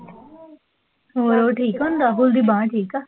ਹੋਰ ਠੀਕ ਹੈ? ਹੁਣ ਰਾਹੁਲ ਦੀ ਬਾਂਹ ਠੀਕ ਆ?